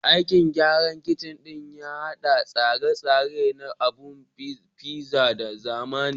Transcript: Aikin gyaran kicin ɗin ya haɗa da tsare-tsare na abun gashin pizza na zamani